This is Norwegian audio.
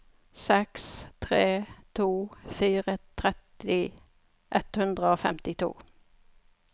seks tre to fire tretti ett hundre og femtito